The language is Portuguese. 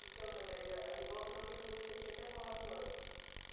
Então, Margarida, aí volta uma questão que você tinha até falado antes.